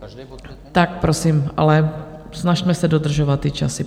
Tak prosím, ale snažme se dodržovat ty časy.